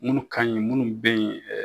Munnu ka ɲi munnu bɛ ye